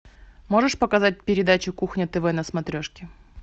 можешь показать передачу кухня тв на смотрешке